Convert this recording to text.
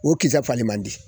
O kisɛ fali man di